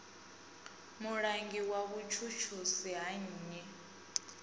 mulangi wa vhutshutshisi ha nnyi